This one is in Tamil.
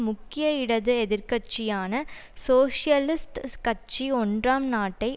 முக்கிய இடது எதிர் கட்சியான சோசியலிஸ்ட் கட்சி ஒன்றாம் நாட்டை